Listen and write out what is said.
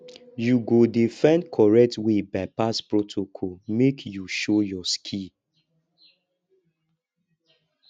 you go dey find correct way bypass protocol make you show your skill